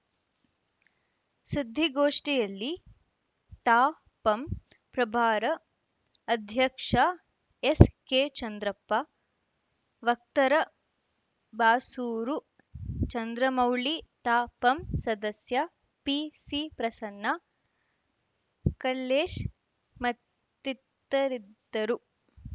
ಸುದ್ದಿಗೋಷ್ಟಿಯಲ್ಲಿ ತಾಪಂ ಪ್ರಭಾರ ಅಧ್ಯಕ್ಷ ಎಸ್‌ಕೆ ಚಂದ್ರಪ್ಪ ವಕ್ತರ ಬಾಸೂರು ಚಂದ್ರಮೌಳಿ ತಾಪಂ ಸದಸ್ಯ ಪಿಸಿ ಪ್ರಸನ್ನ ಕಲ್ಲೇಶ್‌ ಮತ್ತಿತರಿದ್ದರು